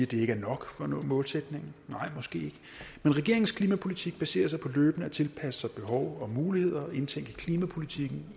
det ikke er nok for at nå målsætningen nej måske ikke men regeringens klimapolitik baserer sig på løbende at tilpasse sig behov og muligheder og indtænke klimapolitikken